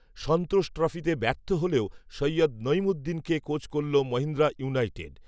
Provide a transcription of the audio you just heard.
সন্তোষ ট্রফিতে ব্যর্থ হলেও, সৈয়দ নঈমুদ্দিনকে কোচ করল, মহীন্দ্রা ইউনাইটেড